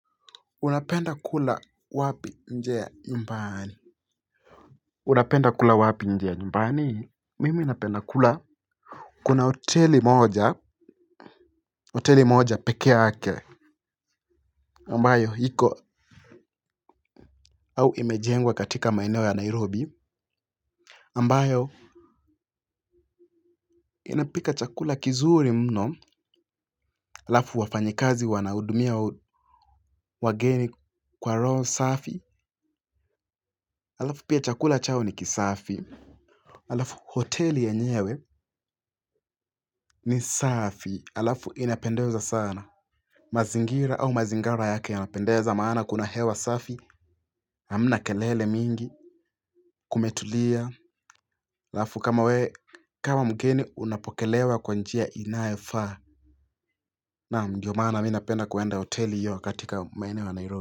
Unapenda kula wapi nje ya nyumbani unapenda kula wapi nje ya nyumbani mimi napenda kula kuna hoteli moja hoteli moja pekee yake ambayo iko au imejengwa katika maeneo ya Nairobi ambayo inapika chakula kizuri mno halafu wafanyikazi wanahudumia wageni kwa roho safi. Halafu pia chakula chao ni kisafi halafu hoteli yenyewe ni safi, halafu inapendeza sana mazingira au mazingara yake yanapendeza maana kuna hewa safi hamna kelele mingi, kumetulia halafu kama we, kama mgeni unapokelewa kwa njia inayofaa naam ndio maana mi napenda kuenda hoteli hiyo katika maeneo ya Nairobi.